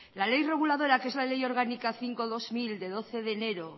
la ley reguladora que es la ley orgánica cinco barra dos mil de doce de enero